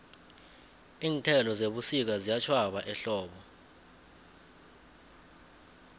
iinthelo zebusika ziyatjhwaba ehlobo